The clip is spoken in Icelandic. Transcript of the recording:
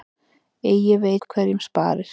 Eigi veit hverjum sparir.